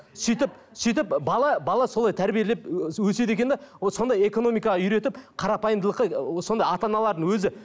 сөйтіп сөйтіп бала бала солай тәрбиелеп ы өседі екен де вот сондай экономикаға үйретіп қарапайымдылық ы сонда ата аналардың өзі